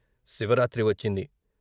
శివరాత్రి వచ్చింది.